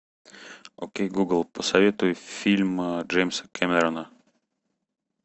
окей гугл посоветуй фильм джеймса кэмерона